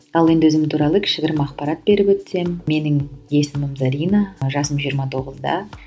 ал енді өзім туралы кішігірім ақпарат беріп өтсем менің есімім зарина жасым жиырма тоғызда